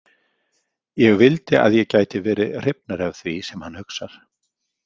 Ég vildi að ég gæti verið hrifnari af því sem hann hugsar.